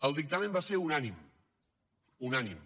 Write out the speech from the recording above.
el dictamen va ser unànime unànime